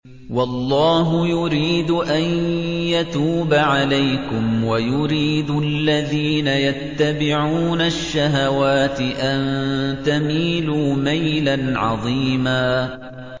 وَاللَّهُ يُرِيدُ أَن يَتُوبَ عَلَيْكُمْ وَيُرِيدُ الَّذِينَ يَتَّبِعُونَ الشَّهَوَاتِ أَن تَمِيلُوا مَيْلًا عَظِيمًا